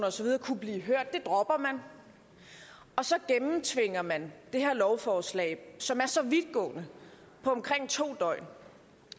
og så videre kunne blive hørt det dropper man og så gennemtvinger man det her lovforslag som er så vidtgående på omkring to døgn